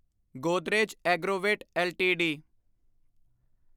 Godrej Agrovet LTD